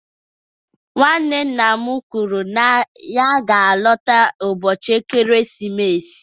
Nwanne nna m kwuru na ya ga-alọta ụbọchị ekeresimesi.